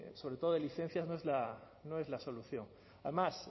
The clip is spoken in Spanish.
sobre todo licencias no es la solución además